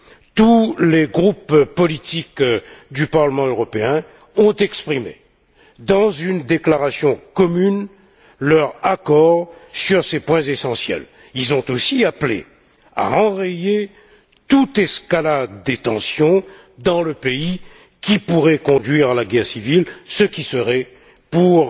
Tous les groupes politiques du Parlement européen ont exprimé, dans une déclaration commune, leur accord sur ces points essentiels. Ils ont aussi appelé à enrayer toute escalade des tensions dans le pays, qui pourraient conduire à la guerre civile, ce qui serait pour